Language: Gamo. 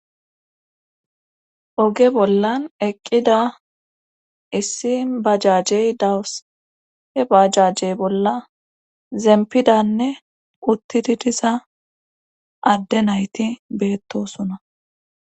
Oge bollan eqqida issi bajajey dawus he bajajjey bolla zempidanne uttidi diza adde nayti beettosona.